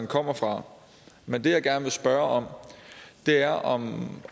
kommer fra men det jeg gerne vil spørge om er om